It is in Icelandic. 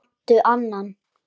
Kanntu annan?